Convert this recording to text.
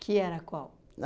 Que era qual?